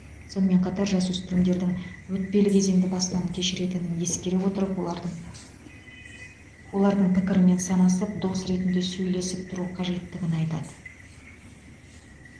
сонымен қатар жасөспірімдердің өтпелі кезеңді бастан кешіретінін ескере отырып олардың олардың пікірімен санасып дос ретінде сөйлесіп тұру қажеттігін айтады